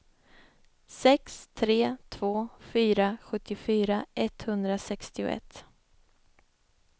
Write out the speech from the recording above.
sex tre två fyra sjuttiofyra etthundrasextioett